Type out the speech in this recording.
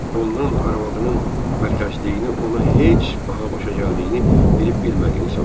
Ondan arvadının vərxaşlığını ona heç baha başa gəldiyini bilib-bilmədiyini soruşdu.